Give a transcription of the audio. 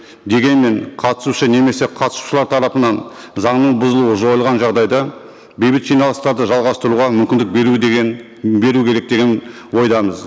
дегенмен қатысушы немесе қатысушылар тарапынан заңның бұзылуы жойылған жағдайда бейбіт жиналыстарды жалғастыруға мүмкіндік беру деген беру керек деген ойдамыз